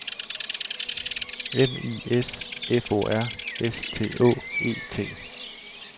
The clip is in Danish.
M I S F O R S T Å E T